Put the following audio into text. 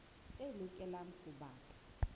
tse lokelang ho ba ka